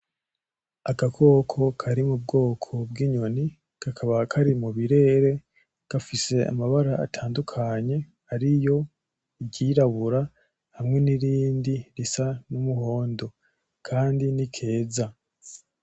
Agakoko kari mubwoko bw'inyoni kakaba kari mubirere gafise amabara atandukanye Ariyo iryirabura hamwe n'irindi risa n'umuhondo Kandi n'ikeza.